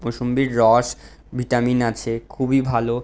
মৌসুমবির রস ভিটামিন আছে খুবই ভালো।